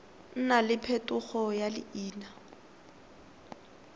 nna le phetogo ya leina